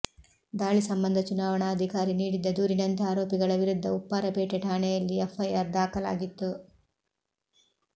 ದಾಳಿ ಸಂಬಂಧ ಚುನಾವಣಾಧಿಕಾರಿ ನೀಡಿದ್ದ ದೂರಿನಂತೆ ಆರೋಪಿಗಳ ವಿರುದ್ಧ ಉಪ್ಪಾರಪೇಟೆ ಠಾಣೆಯಲ್ಲಿ ಎಫ್ಐಆರ್ ದಾಖಲಾಗಿತ್ತು